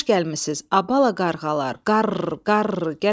"Xoş gəlmisiz, abala qarğalar, qarr, qarr.